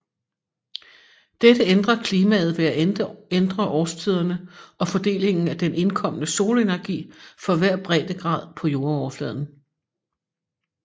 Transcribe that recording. Dette ændrer klimaet ved at ændre årstiderne og fordelingen af den indkommende solenergi for hver breddegrad på jordoverfladen